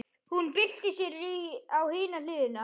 Hún byltir sér á hina hliðina.